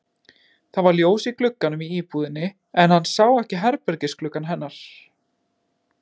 Það var ljós í gluggunum í íbúðinni en hann sá ekki herbergisgluggann hennar.